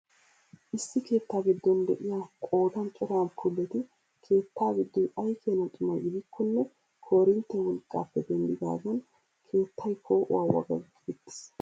Issi keettaa giddon de'iyaa qoodan cora amppuuleti keetta giddoy ay keena xuma gidikkone korinttiyaa wolqqaappe dendidaagan keettay poo'uwaa wagaggi uttiis!